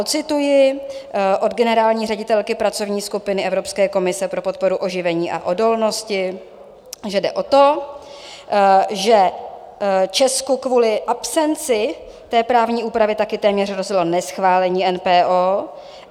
Ocituji od generální ředitelky pracovní skupiny Evropské komise pro podporu oživení a odolnosti, že jde o to, že Česku kvůli absenci té právní úpravy také téměř hrozilo neschválení NPO.